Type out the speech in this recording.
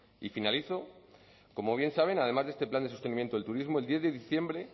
y finalizo como bien saben además de este plan de sostenimiento del turismo el diez de diciembre